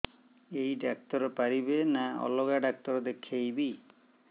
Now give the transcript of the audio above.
ଏଇ ଡ଼ାକ୍ତର ପାରିବେ ନା ଅଲଗା ଡ଼ାକ୍ତର ଦେଖେଇବି